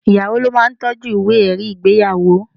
Ìyàwó ló ma ń toọ́jú ìwé ẹ̀rí ìgbéyàwó.